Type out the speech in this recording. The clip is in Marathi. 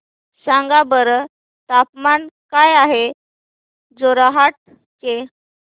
सांगा बरं तापमान काय आहे जोरहाट चे